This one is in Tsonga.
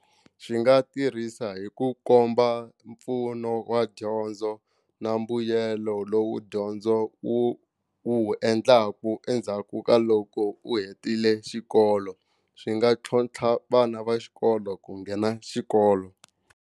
Xi nga tirhisa hi ku komba mpfuno wa dyondzo na mbuyelo lowu dyondzo wu wu endlaku endzhaku ka loko u hetile xikolo swi nga tlhontlha vana va xikolo ku nghena xikolo.